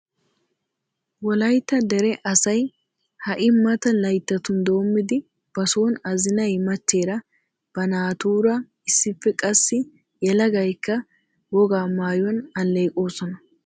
Wolaytta dere asay hai mata layttatrun dommidi ba son azinay machcheer ba naa tura issippe, qassi yelagaykka woga maayuwan alleeqosona.